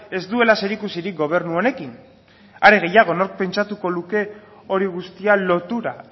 ez duela zerikusirik gobernu honekin are gehiago nork pentsatuko luke hori guztia lotura